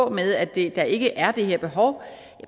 med at der ikke er det her behov